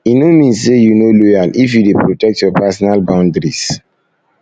e no mean say you no loyal if you dey protect your personal boundaries